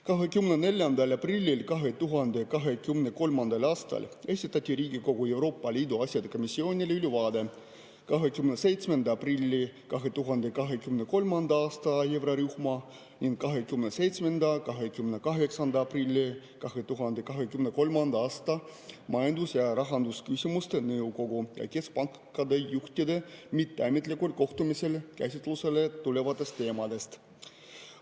24. aprillil 2023. aastal esitati Riigikogu Euroopa Liidu asjade komisjonile ülevaade 27. aprilli 2023. aasta eurorühma ning 27. ja 28. aprilli 2023. aasta majandus‑ ja rahandusküsimuste nõukogu ja keskpankade juhtide mitteametlikul kohtumisel käsitlusele tulevatest teemadest.